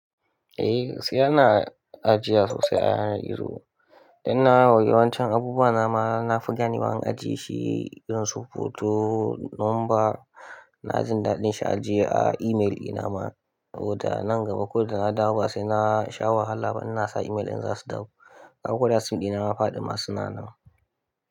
Eh sai ana ajiya sosai a yanar gizo. Dan na wa yawancin abubuwa na ma na fita ne bayan ajiye shi, ƙin su foto, number na jin daɗin shi ajiye a email ina ma. Saboda nan gaba ko da na dawo ba sai na sha wahala ba ina sa email dina za su dawo. Dan koda sim dina ya faɗi ma sunanan.